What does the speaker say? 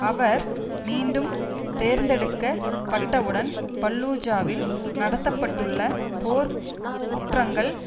அவர் மீண்டும் தேர்ந்தெடுக்கப் பட்டவுடன் பல்லூஜாவில் நடத்த பட்டுள்ள போர் குற்றங்கள்